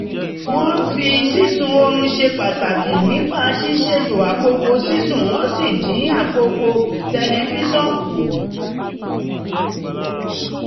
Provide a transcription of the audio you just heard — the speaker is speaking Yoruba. wọ́n fi sísun orun ṣe pàtàkì nípa ṣísètò àkókò sísùn wọ́n sì dín àkókò tẹlifíṣọ̀n kù